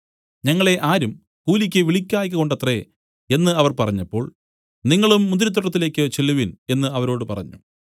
ഞങ്ങളെ ആരും കൂലിക്ക് വിളിക്കായ്കകൊണ്ടത്രേ എന്നു അവർ പറഞ്ഞപ്പോൾ നിങ്ങളും മുന്തിരിത്തോട്ടത്തിലേക്കു ചെല്ലുവിൻ എന്നു അവരോട് പറഞ്ഞു